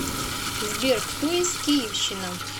сбер кто из киевщина